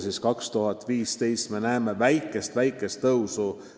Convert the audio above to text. Alates aastast 2015 me näeme väikest-väikest tõusu.